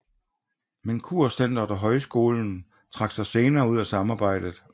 Men Kurcentret og Højskolen trak sig senere ud af samarbejdet